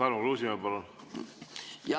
Tarmo Kruusimäe, palun!